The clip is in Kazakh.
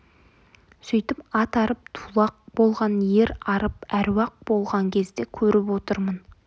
сөйтіп ат арып тулақ болған ер арып әруақ болған кезді көріп отырмын